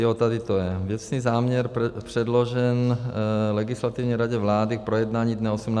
Jo, tady to je, věcný záměr předložen Legislativní radě vlády k projednání dne 18. května.